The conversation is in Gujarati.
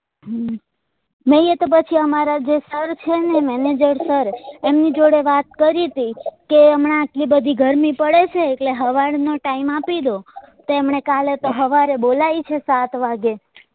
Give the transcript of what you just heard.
નઈ તો પછી અમારા જે sir છે ને manager sir એમની જોડે વાત કરી તી કે હમણાં આટલી બધી ગરમી પડે છે એટલે હવાર નો time આપી દો તો એમને તો કાલે હવારે બોલાઈ છે સાત વાગે